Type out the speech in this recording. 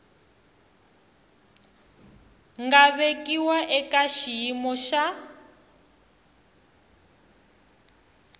nga vekiwa eka xiyimo xa